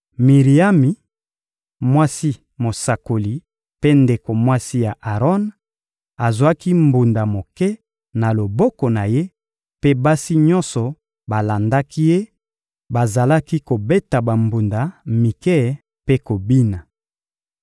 Miriami, mwasi mosakoli mpe ndeko mwasi ya Aron, azwaki mbunda moke na loboko na ye mpe basi nyonso balandaki ye; bazalaki kobeta bambunda mike mpe kobina.